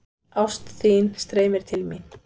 Ást þín streymir til mín.